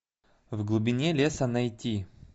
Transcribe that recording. в глубине леса найти